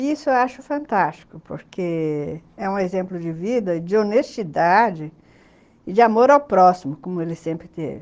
E isso eu acho fantástico, porque... é um exemplo de vida, de honestidade e de amor ao próximo, como ele sempre teve.